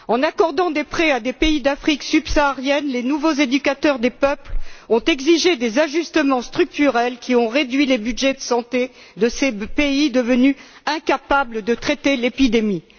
En accordant des prêts à des pays d'Afrique subsaharienne, les nouveaux éducateurs des peuples ont exigé des ajustements structurels qui ont réduit les budgets de santé de ces pays devenus incapables de traiter l'épidémie.